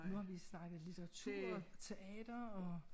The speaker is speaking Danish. Nu har vi snakket litteratur teater og